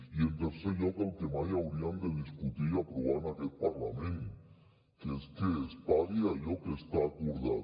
i en tercer lloc el que mai hauríem de discutir i aprovar en aquest parlament que és que es pagui allò que està acordat